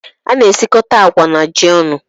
A na-esikọta agwa na ji ọnụ.